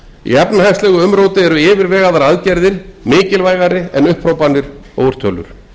í efnahagslegu umróti eru yfirvegaðar aðgerðir mikilvægari en upphrópanir og úrtölur